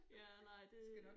Ja nej det